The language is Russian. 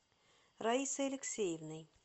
раисой алексеевной